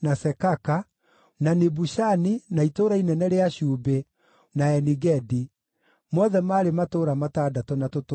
na Nibushani, na itũũra inene rĩa Cumbĩ, na Eni-Gedi; mothe maarĩ matũũra matandatũ na tũtũũra twamo.